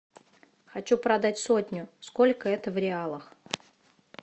хочу продать сотню сколько это в реалах